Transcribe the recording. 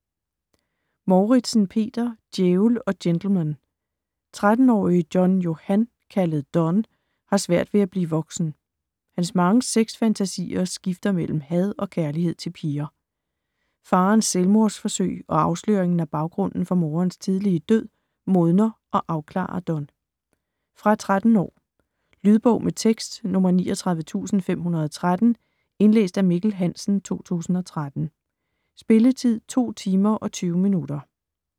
Mouritzen, Peter: Djævel & gentleman 13-årige John-Johan, kaldet Don, har svært ved at blive voksen. Hans mange sex-fantasier skifter mellem had og kærlighed til piger. Faderens selvmordsforsøg og afsløringen af baggrunden for moderens tidlige død, modner og afklarer Don. Fra 13 år. Lydbog med tekst 39513 Indlæst af Mikkel Hansen, 2013. Spilletid: 2 timer, 20 minutter.